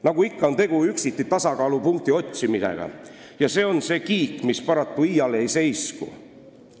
Nagu ikka, on tegu üksiti tasakaalupunkti otsimisega ja see on see kiik, mis paraku iial ei seisku.